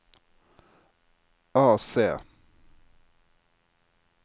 AC